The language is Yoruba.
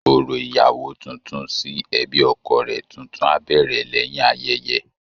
Orò ìyàwó tuntun sí ẹbí ọkọ rẹ̀ tuntun á bẹ̀rẹ̀ lẹ́yìn ayẹyẹ